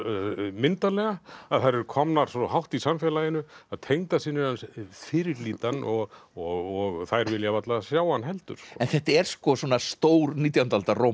myndarlega að þær eru komnar svo hátt í samfélaginu að tengdasynir hans fyrirlíta hann og og þær vilja varla sjá hann heldur en þetta er svona stór nítjándu aldar